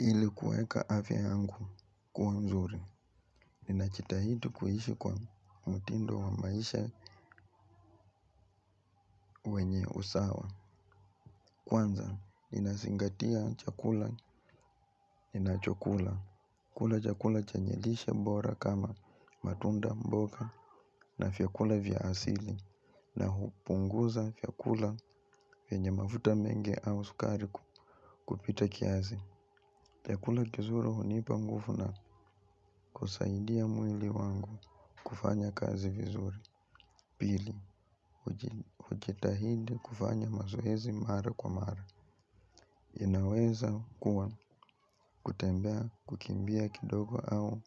Hili kueka afya yangu kuwa mzuri. Ninachitahidi kuhishi kwa mutindo wa maisha wenye usawa. Kwanza, ninazingatia chakula nina chokula. Kula chakula chenye lishe bora kama matunda mboga na vyakula vya asili na hupunguza fyakula venye mafuta mengi au sukari kupita kiazi. Fyakula kizuru hunipa ngufu na kusaidia mwili wangu kufanya kazi vizuri. Pili, ujitahidi kufanya mazoezi mara kwa mara. Inaweza kuwa kutembea kukimbia kidogo au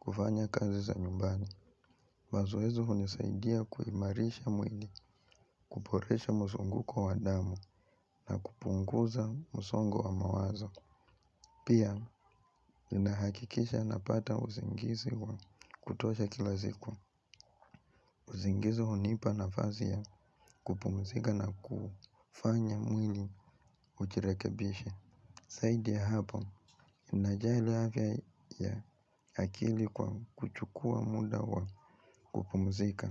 kufanya kazi za nyumbani. Mazoezi hunisaidia kuimarisha mwili, kuporesha musunguko wa damu na kupunguza msongo wa mawazo. Pia, inahakikisha napata uzingisi wa kutuosha kila ziku. Uzingisi hunipa nafazi ya kupumzika na kufanya mwini ujirekebisha. Saidi ya hapo, inajali afya ya akili kwa kuchukua muda wa kupumzika.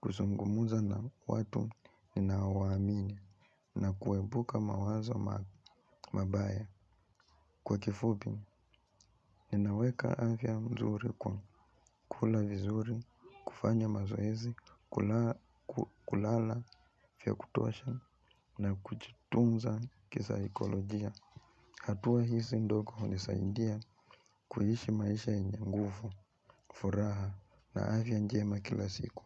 Kuzungumza na watu ninaowaamini na kuepuka mawazo mabaya kwa kifupi, ninaweka afya mzuri kwa kula vizuri, kufanya mazoezi, kulala fya kutosha na kuchitunza kisaikolojia. Hatua hisi ndoko hunisaindia kuhishi maisha yenye ngufu, furaha na avya njema kila siku.